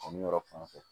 Ani yɔrɔ fan fɛ